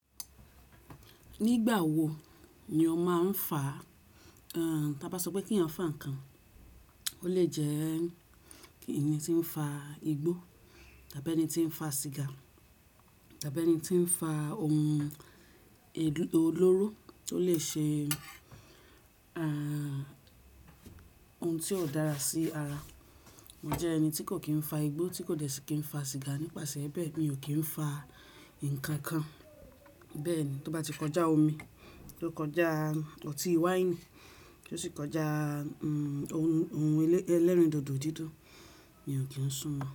Nígbà wo ni ọ máa ń faa? Tí a bá sọ pé kí n fa ǹnkan, ó lè jẹ́ kí ènìyàn tí ń fa igbó tàbí ẹni tí ń fa sìgá tàbí ẹni tí ń fa ohun olóró tó lè ṣe ohun tí kó dára sí ara. Mo jẹ́ ẹni tí kò kí ń fa igbó, tí kò dẹ́ si kí ń fa sìgá nípasẹ̀ bẹ́ẹ̀ mi ò kí ń fa ǹnkan kan. Bẹ́ẹ̀ni tó bá ti kọjá omi, tó kọjá ọtí wáìnì, tó sì kọjá ohun ẹlẹ́rìndòdò didun, mi ò kí ń sún mo.